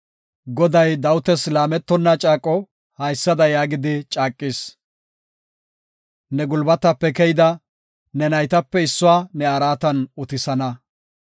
Goday Dawitas laametonna caaqo haysada yaagidi caaqis; “Ne gulbatape keyida, ne naytape issuwa ne araatan utisana.